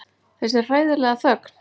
Þessi hræðilega þögn.